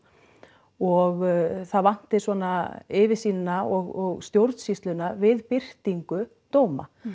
og það vanti svona yfirsýnina og stjórnsýsluna við birtingu dóma